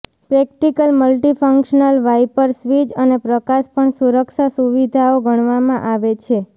practical multifunctional wiper switch અને પ્રકાશ પણ સુરક્ષા સુવિધાઓ ગણવામાં આવે છે